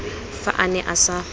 fa a ne a sa